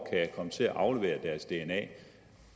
komme til at aflevere deres dna